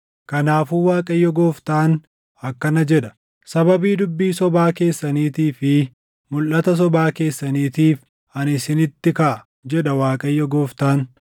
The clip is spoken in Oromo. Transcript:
“ ‘Kanaafuu Waaqayyo Gooftaan akkana jedha: Sababii dubbii sobaa keessaniitii fi mulʼata sobaa keessaniitiif ani isinitti kaʼa, jedha Waaqayyo Gooftaan.